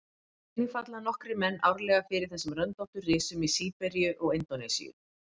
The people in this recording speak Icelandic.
Einnig falla nokkrir menn árlega fyrir þessum röndóttu risum í Síberíu og Indónesíu.